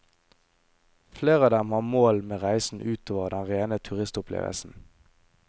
Flere av dem har mål med reisen utover den rene turistopplevelsen.